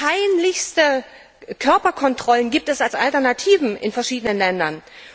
Peinlichste Körperkontrollen gibt es als Alternativen in verschiedenen Ländern.